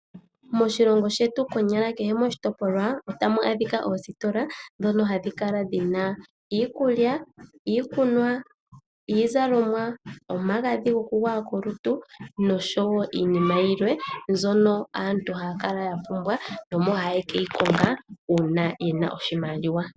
Moshilongo shetu konyala kehe moshitopolwa otamu adhika oositola dhono hadhi kala dhina iikulya, iikunwa, iizalomwa, omagadhi gokugwaya kolutu noshowo iinima yilwe mbyono aantu haya kala ya pumbwa, no mo haye keyi konga uuna yena oshimaliwa.